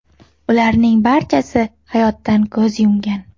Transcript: Ularning barchasi hayotdan ko‘z yumgan.